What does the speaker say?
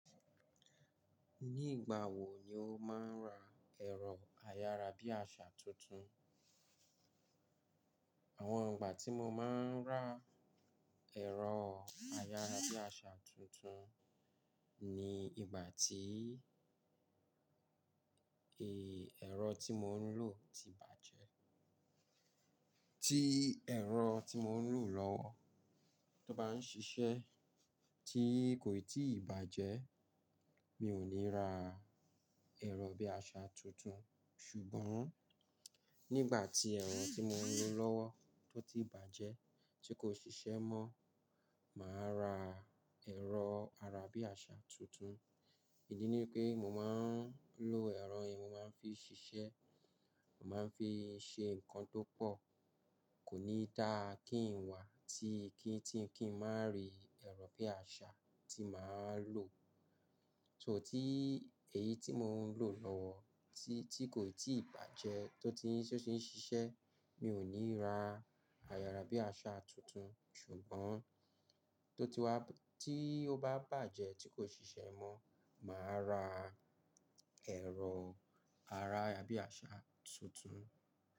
Ní ìgbà wo ni o máa ń ra ẹ̀rọ ayára bí àsá tuntun? Àwọn ìgbà tí mo máa ń ra ẹ̀rọ ayára bí àsá tuntun ni ìgbà tí, ẹ, ẹ̀rọ tí mò ń lò ti bàjẹ́. Tí ẹ̀rọ tí mò ń lò lọ́wọ́ tó bá ń ṣiṣẹ́, tí kò ì tíì bàjẹ́, mi ò ní ra ẹ̀rọ bí àsá tuntun. Ṣùgbọ́n nígbà tí ẹ̀rọ tí mò ń lò lọ́wọ́ tó ti bàjẹ́, tí kò ṣiṣẹ́ mọ́, màá ra ẹ̀rọ ara bí àsá tuntun. Ìdí ni pé mo máa ń lò ẹ̀rọ yẹn, mo máa ń fi ṣiṣẹ́, màá ń fi ṣe nǹkan tó pọ̀. Kò ní dáa kí n wá tí kí, tí n kí n má rí ẹ̀rọ bí àsá tí màá ń lò. So tí èyí tí mò ń lò lọ́wọ́ tí, tí kò ì tíì bàjẹ́ tó ti ń, tó ti ń ṣiṣẹ́, mi ò ní ra ayára bí àsá tuntun. Ṣùgbọ́n tó ti wá, tí ó bá bàjẹ́ tí kò ṣiṣẹ́ mọ́, màá ra ẹ̀rọ ara bí àsá tuntun.